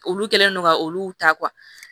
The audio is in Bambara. Olu kɛlen don ka olu ta